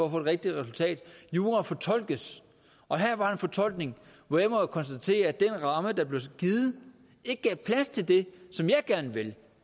rigtige resultat jura fortolkes og her var en fortolkning hvor jeg må konstatere at den ramme der blev givet ikke gav plads til det som jeg gerne vil